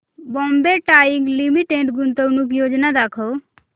Bombay Dyeing Limited गुंतवणूक योजना दाखव